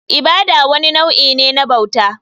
Ibada wani nau'i ne na bauta.